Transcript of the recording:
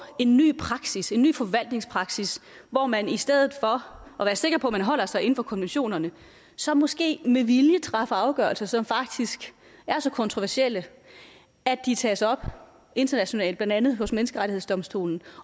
en ny praksis en ny forvaltningspraksis hvor man i stedet for at være sikker på at man holder sig inden for konventionerne så måske med vilje træffer afgørelser som faktisk er så kontroversielle at de tages op internationalt blandt andet af menneskerettighedsdomstolen